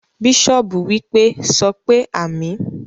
Bishop wípé,"sọpé àmín"